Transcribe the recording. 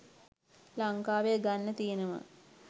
ලංකාවේ ගන්න තියෙනවා